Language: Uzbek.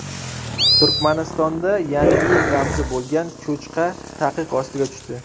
Turkmanistonda Yangi yil ramzi bo‘lgan cho‘chqa taqiq ostiga tushdi.